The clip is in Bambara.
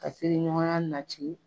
Ka teri ɲɔgɔnya nati